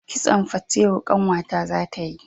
Kitson fatewo ƙanwa ta za ta yi